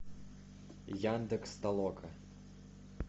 яндекс толока